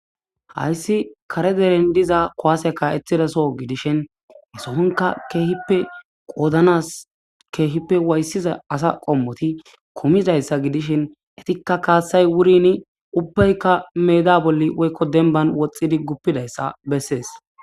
Hayssi kare deren diza kuwasey ka'etizaso gidishin hasoonka keehipe qoodanas keehipe wayisiza asa qommoti kumidayssa gidishin eetika kaassay wuurini ubbayka meeda bolla woyko dembban woxxidi gupizaysa bessees.